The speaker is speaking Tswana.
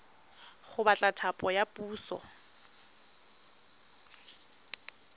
go batla thapo ya puso